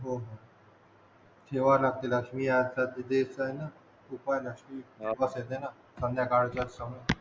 हो हो ठेवावे लागतील रात्री आठ तास चे हे हाय ना उपासाचं ना हा संद्याकाळचा आत